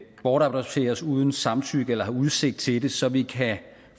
bortadopteres uden samtykke eller har udsigt til det så vi kan